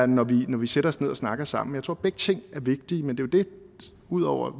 når vi vi sætter os ned og snakker sammen jeg tror at begge ting er vigtige udover at